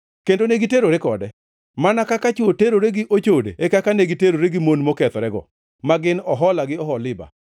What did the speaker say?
Kendo negiterore kode. Mana kaka chwo terore gi ochode e kaka negiterore gi mon mokethorego, ma gin Ohola gi Oholiba.